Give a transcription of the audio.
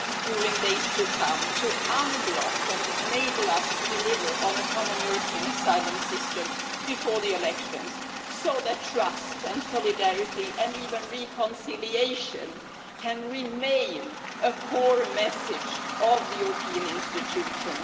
during the days to come to unblock and enable us to deliver on a common European asylum system before the elections so that trust and solidarity and even reconciliation can remain a core message of the European institutions?